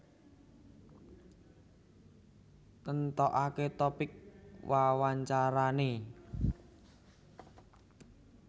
Nentokake topik wawancarane